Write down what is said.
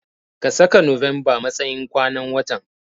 Ka saka November matsayin kwanan watan.